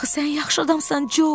Axı sən yaxşı adamsan, Co.